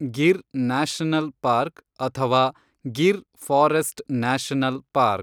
Gir national park ಅಥವಾ Gir forest national park